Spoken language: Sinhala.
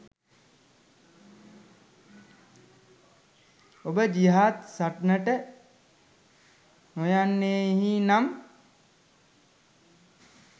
ඔබ ජිහාද් සටනට නොයන්නෙහි නම්